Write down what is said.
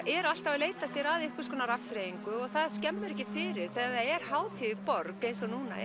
eru alltaf að leita sér að einhvers konar afþreyingu og það skemmir ekki fyrir þegar það er hátíð í borg eins og núna